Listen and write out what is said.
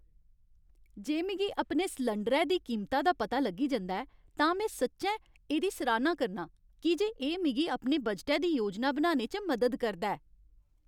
जे मिगी अपने सलैंडरै दी कीमता दा पता लग्गी जंदा ऐ तां में सच्चैं एह्दी सराह्ना करनां की जे एह् मिगी अपने बजटै दी योजना बनाने च मदद करदा ऐ।